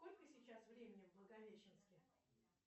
сколько сейчас времени в благовещенске